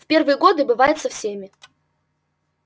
в первые годы бывает со всеми